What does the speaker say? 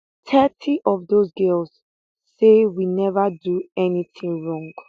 thirty of dose girls say we neva do anytin wrong